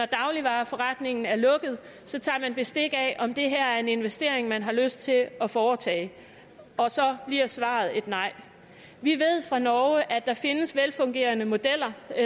dagligvareforretningen er lukket så tager man bestik af om det her er en investering man har lyst til at foretage og så bliver svaret et nej vi ved fra norge at der findes velfungerende modeller